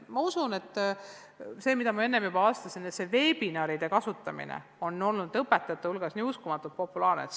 Nagu ma enne juba vastasin, on veebiseminaride kasutamine olnud õpetajate hulgas uskumatult populaarne.